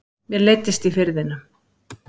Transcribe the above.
Mér leiddist í Firðinum.